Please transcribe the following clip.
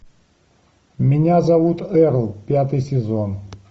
меня зовут эрл пятый сезон